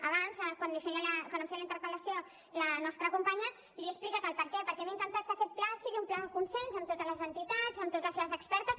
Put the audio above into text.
abans quan em feia la interpel·lació la nostra companya li he explicat el perquè perquè hem intentat que aquest pla sigui un pla de consens amb totes les entitats amb totes les expertes